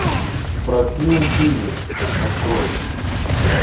спроси у пыли открой